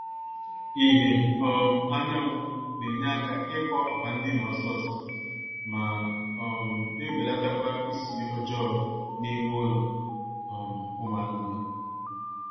ìhè um anyanwụ na-enye aka ịkọ akwa ndina ọsọọsọ ma um na-ebelatakwa ísì ọjọọ n'ime ụlọ um ụmụ anụmaanụ